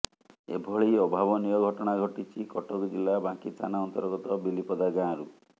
ଏଭଳି ଅଭାବନୀୟ ଘଟଣା ଘଟିଛି କଟକ ଜିଲ୍ଲା ବାଙ୍କୀ ଥାନା ଅନ୍ତର୍ଗତ ବିଲିପଦା ଗାଁରୁ